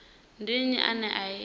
ndi nnyi ane a i